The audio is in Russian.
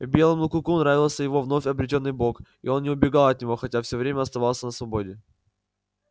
белому клыку нравился его вновь обретённый бог и он не убегал от него хотя всё время оставался на свободе